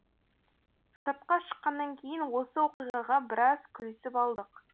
сыртқа шыққаннан кейін осы оқиғаға біраз күлісіп алдық